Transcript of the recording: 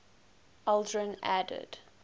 aldrin added